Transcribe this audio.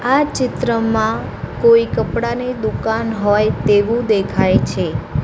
આ ચિત્રમાં કોઈ કપડાની દુકાન હોય તેવું દેખાય છે.